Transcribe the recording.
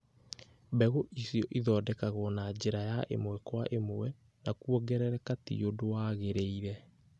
mbegũ icio ithondekagwo na njĩra ya ĩmwe kwa ĩmwe na kwongerereka ti ũndũ wagĩrĩire.